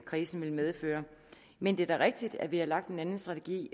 krisen ville medføre men det er da rigtigt at vi har lagt en anden strategi